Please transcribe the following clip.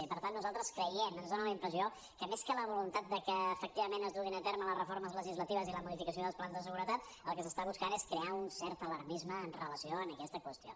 i per tant nosaltres creiem ens dona la impressió que més que la voluntat que efectivament es duguin a terme les reformes legislatives i la modificació dels plans de seguretat el que s’està buscant és crear un cert alarmisme amb relació a aquesta qüestió